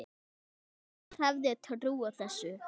Hver hefði trúað þessu?